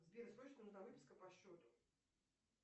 сбер срочно нужна выписка по счету